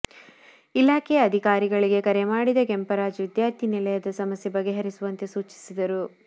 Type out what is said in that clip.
ಇಲಾಖೆಯ ಅಧಿಕಾರಿಗಳಿಗೆ ಕರೆ ಮಾಡಿದ ಕೆಂಪರಾಜ್ ವಿದ್ಯಾರ್ಥಿನಿಲಯದ ಸಮಸ್ಯೆ ಬಗೆಹರಿಸುವಂತೆ ಸೂಚಿಸಿದರು